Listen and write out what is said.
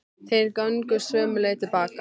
Þeir gengu sömu leið til baka.